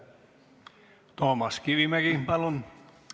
Toomas Kivimägi, palun!